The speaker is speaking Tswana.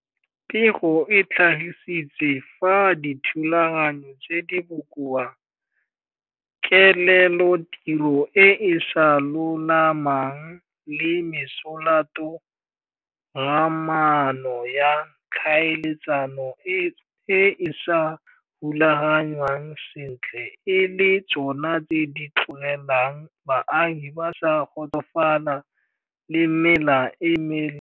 Pego e tlhagisitse fa dithulaganyo tse di bokoa, kelelotiro e e sa lolamang le mesolatogamaano ya tlhaeletsano e e sa rulagangwang sentle e le tsona tse di tlogelang baagi ba sa kgotsofala le mela e meleele.